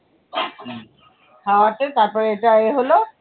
খাওয়াতে তারপরে এটা এ হলো।